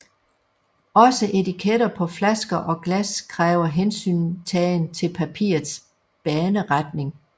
Også etiketter på flasker og glas kræver hensyntagen til papirets baneretning